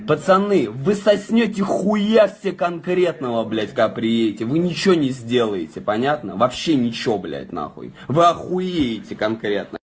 пацаны вы соснёте хуя себе конкретного блядь как приедете вы ничего не сделаете понятно вообще ничего блядь нахуй вы охуеете конкретно